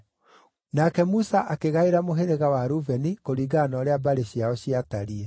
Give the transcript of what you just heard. Nake Musa akĩgaĩra mũhĩrĩga wa Rubeni, kũringana na ũrĩa mbarĩ ciao ciatariĩ: